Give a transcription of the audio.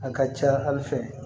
A ka ca hali fɛ